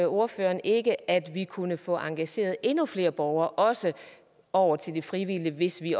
ordføreren ikke at vi kunne få engageret endnu flere borgere også over til det frivillige hvis vi